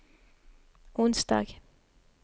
onsdag